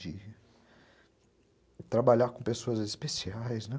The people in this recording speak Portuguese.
(emocionado) De trabalhar com pessoas especiais, né?